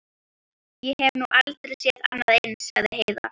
Ég hef nú aldrei séð annað eins, sagði Heiða.